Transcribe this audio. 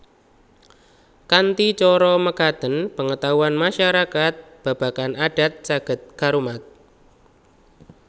Kanthi cara mekaten pengetahuan masyarakat babagan adat saged karumat